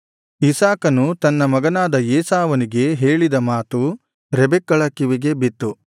ಇಸಾಕನು ತನ್ನ ಮಗನಾದ ಏಸಾವನಿಗೆ ಹೇಳಿದ ಮಾತು ರೆಬೆಕ್ಕಳ ಕಿವಿಗೆ ಬಿತ್ತು